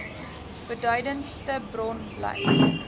beduidendste bron bly